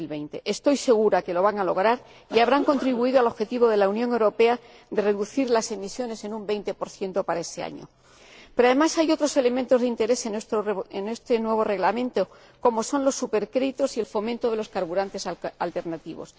2020. Estoy segura de que lo van a lograr, con lo que habrán contribuido al objetivo de la Unión Europea de reducir las emisiones en un 20 para ese año. Pero, además, hay otros elementos de interés en este nuevo Reglamento, como son los supercréditos y el fomento de los carburantes alternativos.